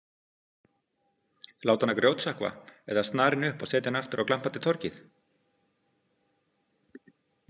Láta hana grjótsökkva eða snara henni upp og setja aftur á glampandi torgið?